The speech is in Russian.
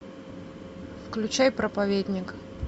включай проповедник